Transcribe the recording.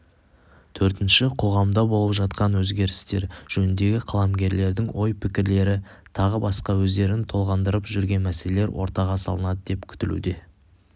төртінші қоғамда болып жатқан өзгерістер жөнінде қаламгерлердің ой-пікірлері тағы басқа өздерін толғандырып жүрген мәселелер ортаға салынады деп күтілуде